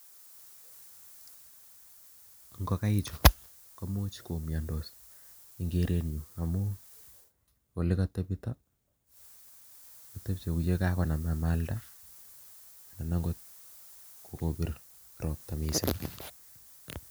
Ingokaichu koimuch komiondos amun kigeere ole kotebtoo, imuch konam amaldaa anan ko kobiir roptaa missing.